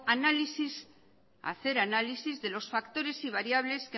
hacer análisis de los factores y variables